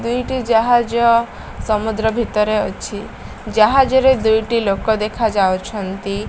ଦୁଇଟି ଜାହାଜ ସମୁଦ୍ର ଭିତରେ ଅଛି ଜାହାଜରେ ଦୁଇଟି ଲୋକ ଦେଖା ଯାଉଛନ୍ତି।